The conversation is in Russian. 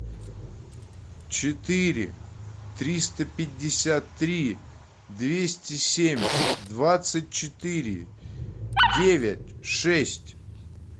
четыре триста пятьдесят три двести семь двадцать четыре девять шесть